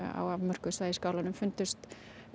á afmörkuðu svæði í skálanum fundust